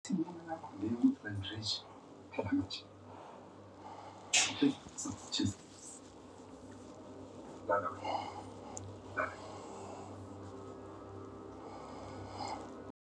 Sungula bindzu majenje page leri